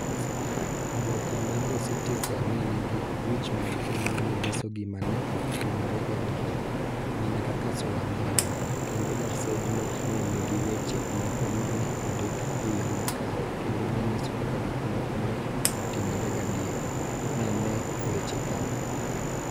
oboke mar The Citizen ne nigi wich maduong' ma ne nyiso gima ne otimore gadier, mana kaka sula mamoko, kendo gasedno ne nigi weche moko ma ne ondik e yo makare kendo manyiso kaka gik moko ne otimore gadier, ma ne wacho kama: